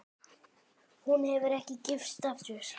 Hún hefur ekki gifst aftur.